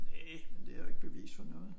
Næ men det jo ikke bevis for noget